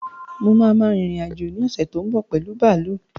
Mo ma rin ìrìn-àjò ní ọ̀ṣè tó ń bọ̀ pẹ̀lu bààlú